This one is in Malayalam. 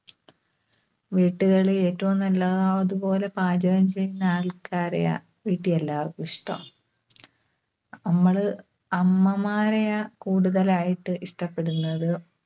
വീട്ടുകളിൽ ഏറ്റവും നല്ലതാതുപോലെ പാചകം ചെയ്യുന്ന ആൾക്കാരെയാ വീട്ടിൽ എല്ലാവർക്കും ഇഷ്‌ടം. നമ്മള് അമ്മമാരെയാ കൂടുതലായിട്ട് ഇഷ്‌ടപ്പെടുന്നത്.